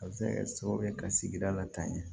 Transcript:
A bɛ se ka kɛ sababu ye ka sigida la tan ɲɛ